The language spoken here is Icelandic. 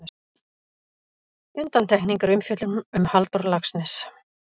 Undantekning er umfjöllun um Halldór Laxness.